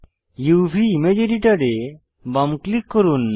উভ image editor এ বাম click করুন